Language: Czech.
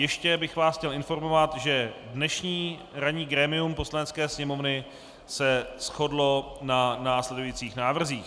Ještě bych vás chtěl informovat, že dnešní ranní grémium Poslanecké sněmovny se shodlo na následujících návrzích: